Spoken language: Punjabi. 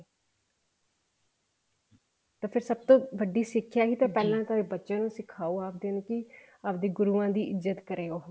ਤਾਂ ਫ਼ੇਰ ਸਭ ਤੋਂ ਵੱਡੀ ਸਿੱਖਣਾ ਹੈ ਤਾਂ ਬੱਚਿਆਂ ਨੂੰ ਸਿਖਾਓ ਆਪਦੀਆਂ ਨੂੰ ਕੀ ਆਪਣੇ ਗੁਰੂਆਂ ਦੀ ਇੱਜਤ ਕਰੇ ਉਹ